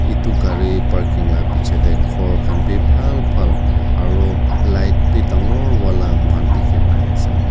etu gari parking la piche te khor khan bi phal phal aru light bi dangor wala moikhan dikhi pai ase.